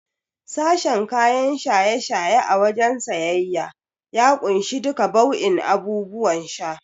Sashen kayan shaye-shaye a wajen siyayya ya kunshi duka bau'in abubuwan sha.